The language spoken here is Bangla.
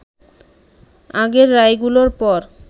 আগের রায়গুলোর পর